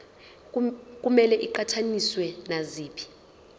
kumele iqhathaniswe naziphi